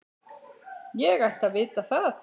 Ég ætti að vita það.